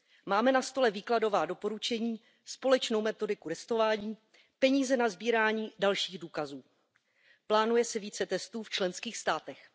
Máme na stole výkladová doporučení, společnou metodiku testování, peníze na sbírání dalších důkazů. Plánuje se více testů v členských státech.